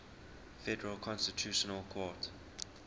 federal constitutional court